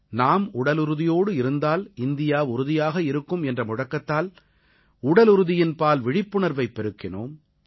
நாம் உடலுறுதியோடு இருந்தால் இந்தியா உறுதியாக இருக்கும் என்ற முழக்கத்தால் உடலுறுதியின்பால் விழிப்புணர்வைப் பெருக்கினோம்